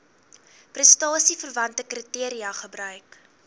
prestasieverwante kriteria gebruik